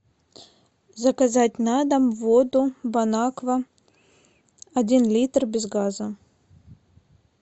заказать на дом воду бонаква один литр без газа